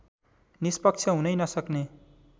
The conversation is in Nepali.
निष्पक्ष हुनै नसक्ने